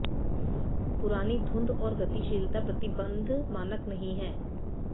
पुरानी धुंध और गतिशीलता प्रतिबंध मानक नहीं है